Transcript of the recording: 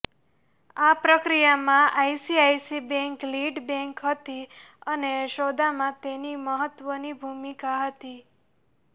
આ પ્રક્રિયામાં ICICI bank lead bank હતી અને સોદામાં તેની મહત્ત્વની ભૂમિકા હતી